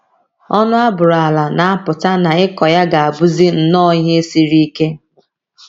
Ọnụ a bụrụ ala na - apụta na ịkọ ya ga - abụzi nnọọ ihe siri ike.